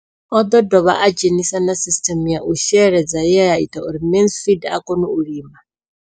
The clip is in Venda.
O ḓo dovha a dzhenisa na sisiṱeme ya u sheledza ye ya ita uri Mansfied a kone u lima.